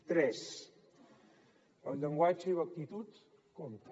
tres el llenguatge i l’actitud compten